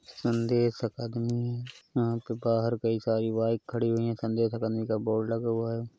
संदेश अकाडमी है। यहाँ पे बाहर कई सारी बाइक खड़ी हुए हैं। संदेश अकादमी का बोर्ड लगा हुआ है।